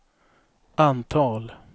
antal